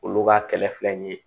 Olu ka kɛlɛ filɛ nin ye